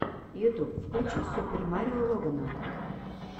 ютуб включи супер марио логана